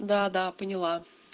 да да поняла